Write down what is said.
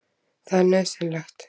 Það er nauðsynlegt.